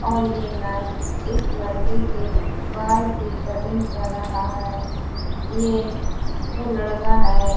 और ये नाई इस लड़के के बाल की कटिंग कर रहा है। ये जो लड़का है --